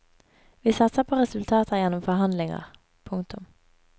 Vi satser på resultater gjennom forhandlinger. punktum